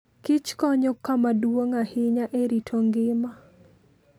Kich konyo kama duong' ahinya e rito ngima.